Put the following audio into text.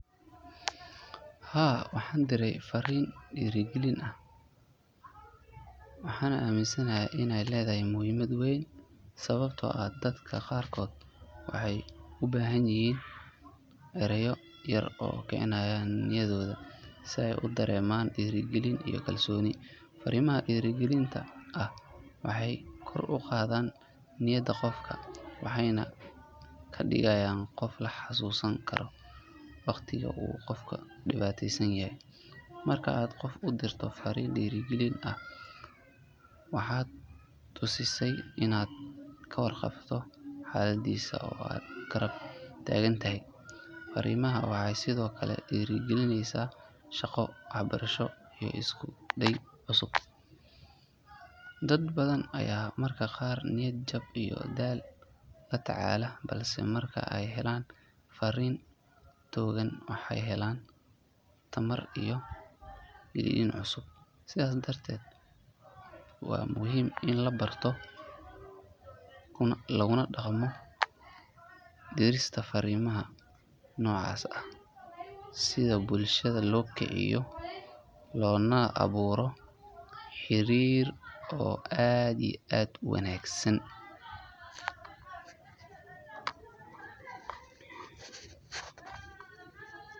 Haa waxaan diray fariin dhiirrigelin ah waxaana aaminsanahay inay leedahay muhiimad weyn sababtoo ah dadka qaarkood waxay u baahan yihiin erayo yar oo kicinaya niyadooda si ay u dareemaan dhiirigelin iyo kalsooni. Fariimaha dhiirrigelinta ah waxay kor u qaadaan niyadda qofka waxayna kaa dhigayaan qof la xasuusan karo waqtiga uu qofku dhibaataysan yahay. Marka aad qof u dirto fariin dhiirrigelin ah waxaad tusaysaa inaad ka warqabto xaaladdiisa oo aad garab taagan tahay. Fariimahan waxay sidoo kale dhiirrigeliyaan shaqo, waxbarasho iyo isku day cusub. Dad badan ayaa mararka qaar niyad jab iyo daal la tacaalaya balse marka ay helaan fariin togan waxay helaan tamar iyo yididiilo cusub. Sidaas darteed waa muhiim in la barto kuna dhaqmo dirista fariimaha noocaas ah si bulshada loo kiciyo loona abuuro xiriir wanaagsan.